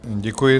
Děkuji.